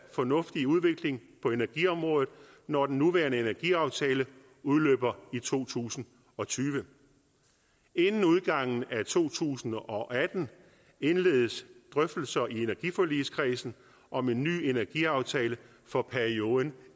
fornuftig udvikling på energiområdet når den nuværende energiaftale udløber i to tusind og tyve inden udgangen af to tusind og atten indledes drøftelser i energiforligskredsen om en ny energiaftale for perioden